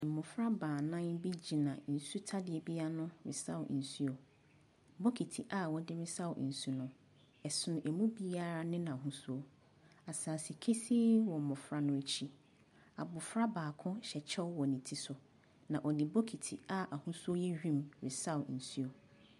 Mmɔfra baanan bi gyina nsutadeɛ bi ano resaw nsuo. Bokiti a wɔde resaw nsu no, ɛsono ɛmu biara ne n'ahosuo. Asase kesee wɔ mmɔfra no akyi. Abɔfra baako hyɛ kyɛw wɔ ne ti so, na ɔde bokita a n'ahosu yɛ wim resaw nsu.